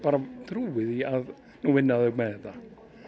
trúi því að nú vinna þau með þetta